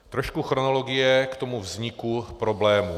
Trošku chronologie k tomu vzniku problému.